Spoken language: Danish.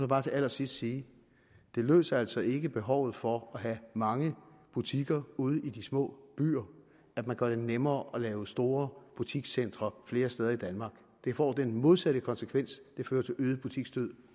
bare til allersidst sige det løser altså ikke behovet for at have mange butikker ude i de små byer at man gør det nemmere at lave store butikscentre flere steder i danmark det får den modsatte konsekvens det fører til øget butiksdød